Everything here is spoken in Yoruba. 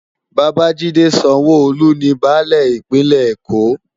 Babajide Sanwo-Olu ni bãlẹ Ipinlè-Ékó